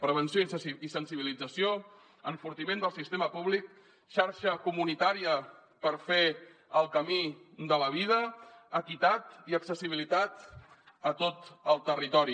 prevenció i sensibilització enfortiment del sistema públic xarxa comunitària per fer el camí de la vida equitat i accessibilitat a tot el territori